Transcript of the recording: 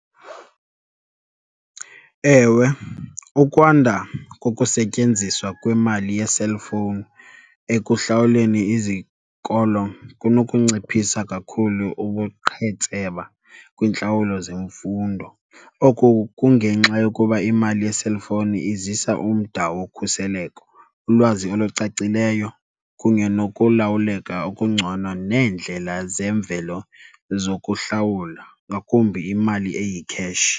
Ewe, ukwanda kokusetyenziswa kwemali ye-cellphone ekuhlawuleni izikolo kunokunciphisa kakhulu ubuqhetseba kwiintlawulo zemfundo. Oku kungenxa yokuba imali ye-cellphone izisa umda wokhuseleko, ulwazi olucacileyo kunye nokulawuleka okungcono neendlela zemvelo zokuhlawula, ngakumbi imali eyikheshi.